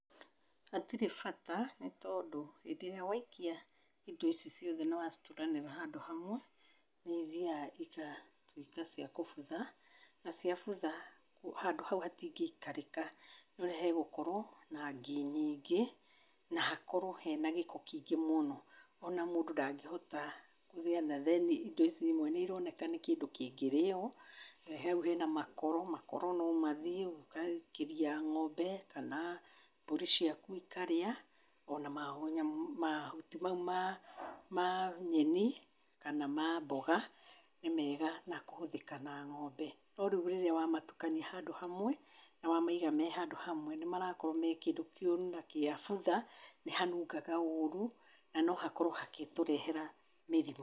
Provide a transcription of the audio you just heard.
Hatirĩ bata, nĩ tondũ hĩndĩ ĩrĩa waikia indo ici ciothe na wacituranĩra hamwe, nĩ ithiaga igatuĩka cia kũbutha, na ciabutha handũ hau hatingĩ ikarĩka nĩ ũrĩa hegũkorwo na ngi nyingĩ na hakorwo hena gĩko kĩingĩ mũno. O na mũndũ ndangĩhota kũrĩa na then indo ici imwe nĩ irooneka nĩ kĩndũ kĩngĩrĩo. Hau hena makoro, makoro no mathiĩ ũgaikĩria ng'ombe kana mbũri ciaku ikarĩa, o na ma nyamũ mahuti mau ma ma nyeni kana ma mboga nĩ mega na kũhũthĩka na ng'ombe. No rĩria wa matukania handũ hamwe, na wa maiga me handũ hamwe, nĩ marakorwo me kĩndũ kĩũru na kĩabutha, nĩ hanungaga ũru na no hakorwo hakĩtũrehera mĩrimũ.